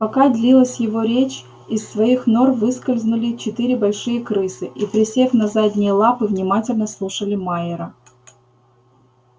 пока длилась его речь из своих нор выскользнули четыре большие крысы и присев на задние лапы внимательно слушали майера